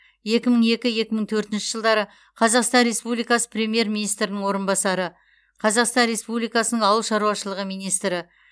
екі мың екі екі мың төртінші жылдары қазақстан республикасы премьер министрінің орынбасары қазақстан республикасының ауыл шаруашылығы министрі